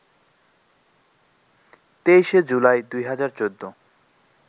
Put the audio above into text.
২৩শে জুলাই ২০১৪